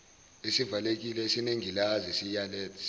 esivalekile esinengilazi siletha